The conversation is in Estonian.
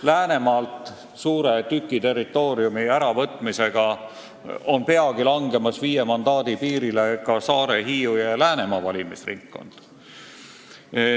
Läänemaalt suure tüki territooriumi äravõtmise tõttu on peagi langemas viie mandaadi piirile ka Saare-, Hiiu- ja Läänemaa valimisringkond.